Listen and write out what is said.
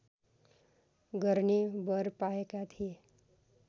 गर्ने वर पाएका थिए